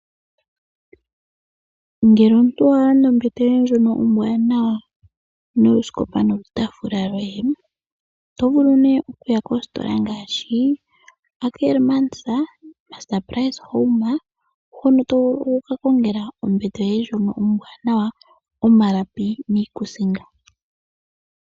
Ngele omuntu owa landa ombete yoye ndjono ombwanawa noosikopa nolutaafula lwoye oto vulu nee okuya kositola ngaashi Ackermans, Mr Price Home hono to vulu okukakongela ombete yoye ndjono ombwanawa omalapi niikusinga.